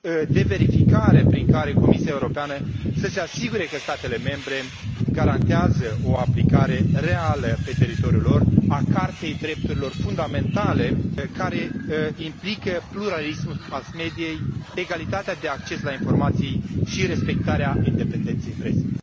de verificare prin care Comisia Europeană să se asigure că statele membre garantează o aplicare reală pe teritoriul lor a Cartei drepturilor fundamentale, care implică pluralismul mass mediei, egalitatea de acces la informații și respectarea independenței presei.